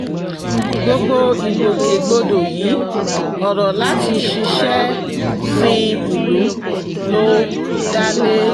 gbogbo ìgbòkègbodò yìí ọ̀rọ̀ láti ṣiṣẹ́ sin ìlú ló dá lé